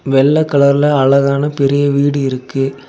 வெள்ள கலர்ல அழகான பெரிய வீடு இருக்கு.